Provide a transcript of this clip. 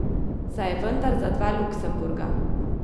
Saj je je vendar za dva Luksemburga!